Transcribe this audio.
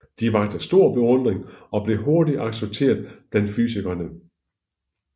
De vakte stor beundring og blev hurtigt accepteret blandt fysikerne